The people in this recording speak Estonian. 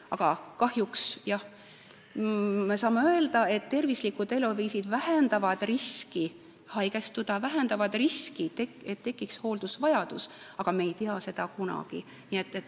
Aga kahjuks jah, me peame ütlema, et tervislikud eluviisid küll vähendavad riski haigestuda, vähendavad seda riski, et tekiks hooldusvajadus, kuid me ei tea seda kunagi ette.